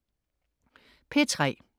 P3: